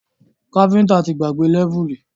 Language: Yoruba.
Káfíntà ti gbàgbé lẹ́vùlì